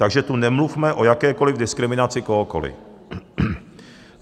Takže tu nemluvme o jakékoliv diskriminaci kohokoli.